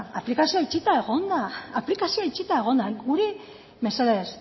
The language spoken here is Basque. da aplikazioa itxita egon da aplikazioa itxita egon da guri mesedez